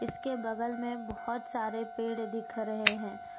इसके बगल में बहुत सारे पेड़ दिख रहे हैं।